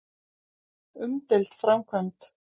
Umdeild framkvæmd.